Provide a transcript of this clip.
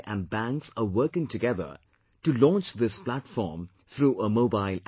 and banks are working together to launch this platform through a mobile app